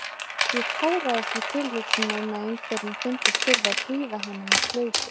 Ég táraðist við tilhugsunina um að einhverjum fyndist þurfa að prýða hana með slaufu.